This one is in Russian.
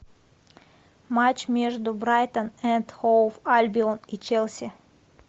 матч между брайтон энд хоув альбион и челси